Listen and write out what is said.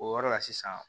O yɔrɔ la sisan